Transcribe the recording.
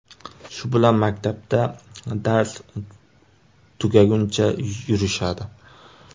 Shu bilan maktabda dars tugaguncha yurishadi.